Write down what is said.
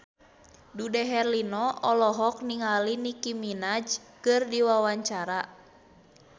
Dude Herlino olohok ningali Nicky Minaj keur diwawancara